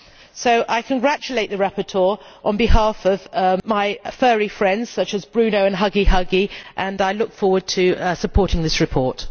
So I congratulate the rapporteur on behalf of my furry friends, such as Bruno and Huggy Huggy, and I look forward to supporting this report.